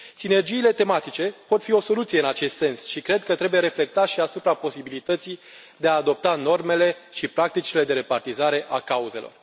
Sinergiile tematice pot fi o soluție în acest sens și cred că trebuie reflectat și asupra posibilității de a adopta normele și practicile de repartizare a cauzelor.